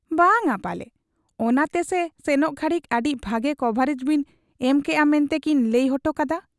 ᱵᱟᱝ ᱟ ᱯᱟᱞᱮ, ᱚᱱᱟ ᱛᱮᱥᱮ ᱥᱮᱱᱚᱜ ᱜᱷᱟᱹᱲᱤᱠ ᱟᱹᱰᱤ ᱵᱷᱟᱹᱜᱤ ᱠᱚᱵᱷᱟᱨᱮᱡᱽ ᱵᱤᱱ ᱮᱢ ᱠᱮᱜ ᱟ ᱢᱮᱱᱛᱮ ᱠᱤᱱ ᱞᱟᱹᱭ ᱚᱴᱚ ᱠᱟᱫ ᱟ ᱾